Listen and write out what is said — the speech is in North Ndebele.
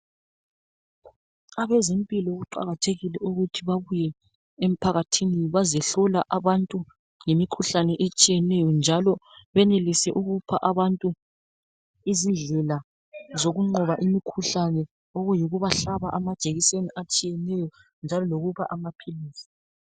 Abezempilakahle kuqakathekile ukuthi babuye emphakathini bezohlola abantu ngemikhuhlane etshiyeneyo njalo benelise ukupha abantu izindlela zokunqoba imikhuhlane okuyikubahlaba amajekiseni atshiyeneyo lokubapha amaphilisi.